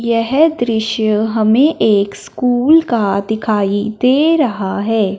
यह दृश्य हमें एक स्कूल का दिखाई दे रहा है।